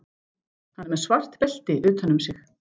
Hann er með svart belti utan um sig.